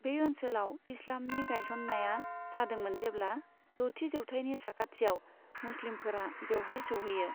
बे ओनसोलाव इस्लामनि गायसननाया जादोंमोन जेब्ला द'थि जौथायनि साखाथियाव मुस्लिमफोरा बेवहाय सौहैयो।